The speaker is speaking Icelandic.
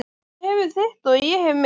Þú hefur þitt og ég hef mitt.